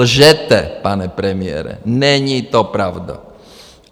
Lžete, pane premiére, není to pravda.